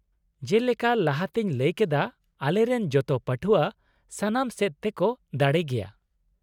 ᱡᱮᱞᱮᱠᱟ ᱞᱟᱦᱟᱛᱮᱧ ᱞᱟᱹᱭ ᱠᱮᱫᱟ , ᱟᱞᱮᱨᱮᱱ ᱡᱚᱛᱚ ᱯᱟᱹᱴᱷᱣᱟᱹ ᱥᱟᱱᱟᱢ ᱥᱮᱫ ᱛᱮᱠᱚ ᱫᱟᱲᱮ ᱜᱮᱭᱟ ᱾